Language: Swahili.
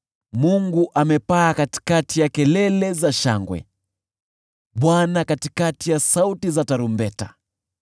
Mungu amepaa kwa kelele za shangwe, Bwana kwa sauti za tarumbeta.